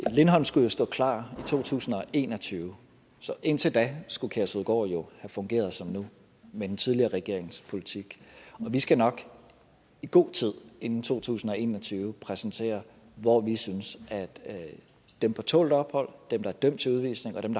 lindholm skulle jo står klar i to tusind og en og tyve så indtil da skulle kærshovedgård have fungeret som nu med den tidligere regerings politik vi skal nok i god tid inden to tusind og en og tyve præsentere hvor vi synes at dem på tålt ophold dem der er dømt til udvisning og dem